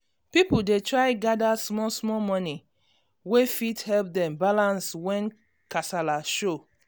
people dey try gather small small money wey fit help dem balance when kasala show.